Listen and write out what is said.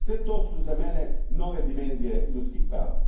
Sve su to za mene nove dimenzije ljudskih prava.